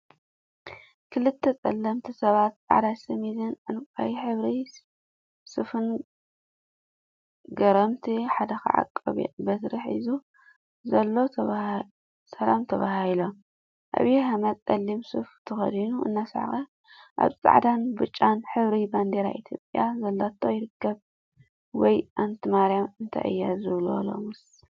ክልተ ፀለምቲ ሰባት ፃዕዳ ሸሚዝን፣ ዕንቋይ ሕብሪ ሱፍን ገይሮምእቲ ሓደ ከዓ ቆቢዕን በትሪን ሒዙ ሰላም ተበሃሂሎም፡፡ ዐብይ አሕመድ ፀሊም ሱፍ ተከዲኑ እናሰሓቀ አብ ፃዕዳን ብጫን ሕብሪን ባንዴራ ኢትዮጵያ ዘለቶ ይርከቡ፡፡ ወይ አንቲ ማርያም እንታይ እዩ ዝበሃሎ ሎሚስ፡፡